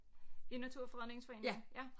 I Naturfredningsforeningen ja